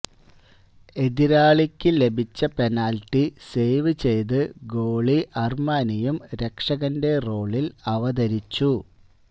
എതിരാളികള്ക്ക് ലഭിച്ച penalty save ചെയ്ത് goalie അര്മാനിയും രക്ഷകന്റെ റോളില് അവതരിച്ചു